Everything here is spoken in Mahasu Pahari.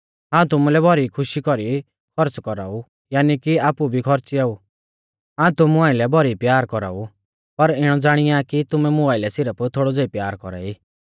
हाऊं तुमुलै भौरी खुशी कौरी खौर्च़ कौराऊ यानी कि आपु भी खौर्च़ियाउ हाऊं तुमु आइलै भौरी प्यार कौराऊ पर इणौ ज़ाणिया कि तुमैं मुं आइलै सिरफ थोड़ौ ज़ेई प्यार कौरा ई